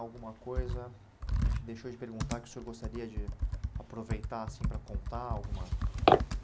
Alguma coisa que a gente deixou de perguntar que o senhor gostaria de aproveitar assim, para contar alguma?